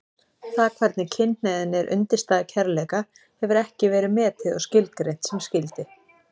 Það hvernig kynhneigðin er undirstaða kærleika hefur ekki verið metið og skilgreint sem skyldi.